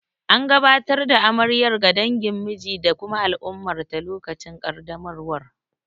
An gabatar da amaryar ga dangin miji da kuma al'ummarta lokacin kaddamarwar.